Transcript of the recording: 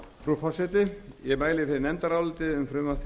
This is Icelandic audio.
frú forseti ég mæli fyrir nefndaráliti um frumvarp til